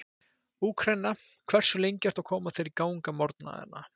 Úkraína Hversu lengi ertu að koma þér í gang á morgnanna?